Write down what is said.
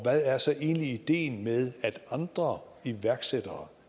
hvad er så egentlig ideen med at andre iværksættere